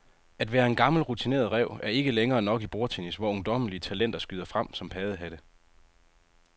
At være en gammel rutineret ræv er ikke længere nok i bordtennis, hvor ungdommelige talenter skyder frem som paddehatte.